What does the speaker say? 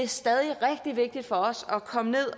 stadig rigtig vigtigt for os